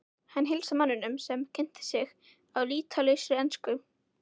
Hann heilsaði manninum sem kynnti sig á lýtalausri ensku.